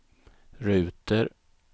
ruter